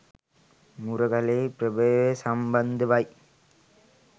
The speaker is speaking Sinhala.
මුරගලෙහි ප්‍රභවය සම්බන්ධවයි.